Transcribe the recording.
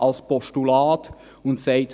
Er sagt damit: